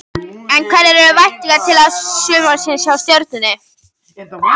En hverjar eru væntingarnar til sumarsins hjá Stjörnunni?